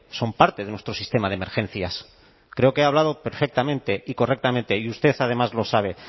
son parte de nuestro sistema de emergencias creo que he hablado perfectamente y correctamente y usted además lo sabe